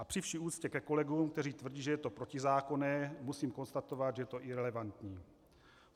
A při vší úctě ke kolegům, kteří tvrdí, že je to protizákonné, musím konstatovat, že je to irelevantní.